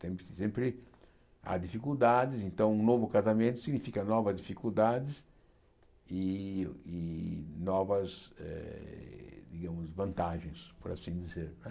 Tem sempre há dificuldades, então um novo casamento significa novas dificuldades e e novas eh vantagens, por assim dizer não é.